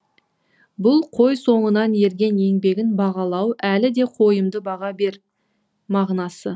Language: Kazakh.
бұл қой соңынан ерген еңбегін бағалау әлі де қойымды баға бер мағынасы